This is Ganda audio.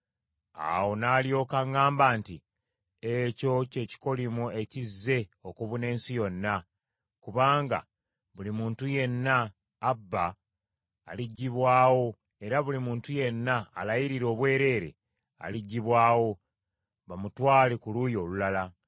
Awo n’alyoka aŋŋamba nti, “Ekyo ky’ekikolimo ekizze okubuna ensi yonna, kubanga buli muntu yenna abba aliggyibwawo era buli muntu yenna alayiririra obwereere aliggyibwawo, bamutwale ku luuyi olulala.